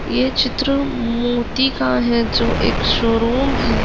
ये चित्र मोती का है जो एक शोरूम है।